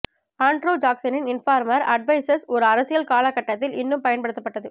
Andrew ஜாக்சனின் informal advisers ஒரு அரசியல் கால கட்டத்தில் இன்னும் பயன்படுத்தப்பட்டது